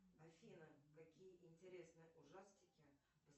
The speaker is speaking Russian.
афина какие интересные ужастики